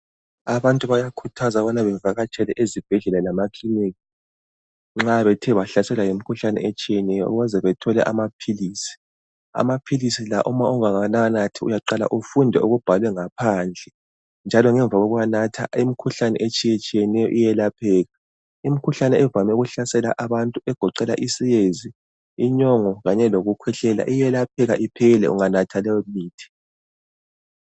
Abantu bayakhuthazwa ukubana bevakatshele ezibhedlela lemakilinika nxa bethe bahlaselwa yimikhuhlane etshiyeneyo ukuze bethole amaphilisi. Amaphilisi la ma ungakawanathi uyaqala ufunde okubhalwe ngaphandle njalo ngemva kokuwanatha imikhuhlane etshiyetshiyeneyo iyelapheka. Imikhuhlane evame ukuhlasela abantu egoqela isiyezi, inyongo kanye lokukhwehlela iyelapheka iphele unganatha leyomithi.